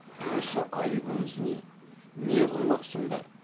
осы айыбымыз не не қылмақсыңдар